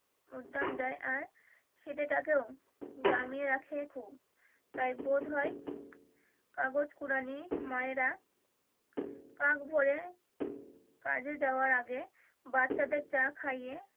উদ্যান যায় আর খিদে টাকেও জামিয়ে রাখে খুব তাই বোধই কাগজ কুড়ানি মায়েরা কাক ভোরে কাজে যাওয়ার আগে বাচ্চাদের চা খাইয়ে